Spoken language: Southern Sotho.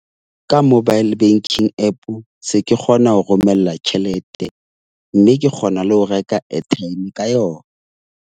Ka mobile banking App se ke kgona ho romella tjhelete. Mme ke kgona le ho reka airtime ka yona.